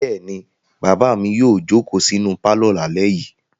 Bẹ́ẹ̀ ni, bàbá mi yóò jókòó sínú pálọ̀ lálẹ́ yìí.